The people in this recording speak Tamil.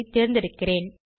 ஐ தேர்ந்தெடுக்கிறேன்